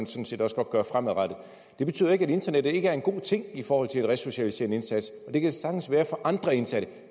set også godt gøre fremadrettet det betyder ikke at internettet ikke er en god ting i forhold til en resocialiserende indsats og det kan det sagtens være for andre indsatte